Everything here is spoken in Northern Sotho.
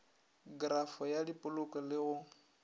krafo ya diploko le go